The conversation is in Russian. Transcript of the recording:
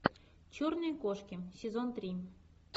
черные кошки сезон три